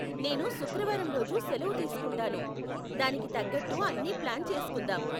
నేను శుక్రవారం రోజు సెలవు తీస్కుంటాను, దానికి తగ్గట్టు అన్ని ప్లాన్ చేసుకుందాం.